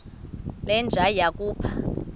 le nja yakhupha